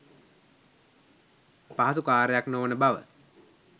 පහසු කාර්යයක් නොවන බව